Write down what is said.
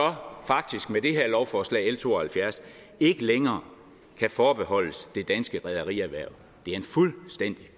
faktisk med det her lovforslag l to og halvfjerds ikke længere kan forbeholdes det danske rederierhverv det er en fuldstændig